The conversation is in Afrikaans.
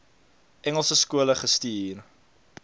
engelse skole gestuur